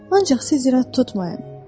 Ancaq siz irad tutmayın.